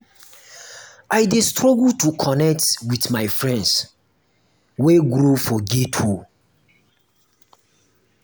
i dey struggle to connect wit my friends wey grow for ghetto.